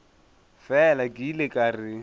fela ke ile ka re